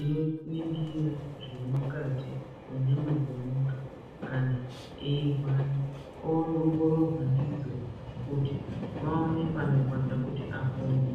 ino ningira zve mukati me nyama dze muntu kana eyi rwara ongororwa ndidzo kuti vaone pano rwadza kuti apone.